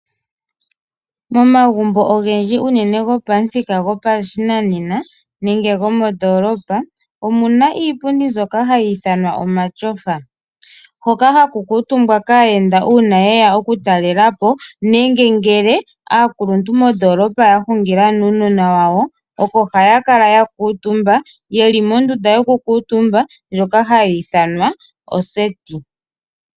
Momagumbo ogendji unene gopamuthika gopashinanena nenge gomondoolopa omu na iipundi mbyoka hayi ithanwa omatyofa, hoka ha ku kuutumbwa kaayenda uuna ye ya okutalela po, nenge ngele aakuluntu mondoolopa ya hungila nuunona wawo oko haya kala ya kuutumba ye li mondunda yoku kuutumba ndjoka hayi ithanwa oseti.